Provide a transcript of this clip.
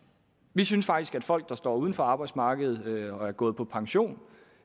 vi synes faktisk at folk der står uden for arbejdsmarkedet og er gået på pension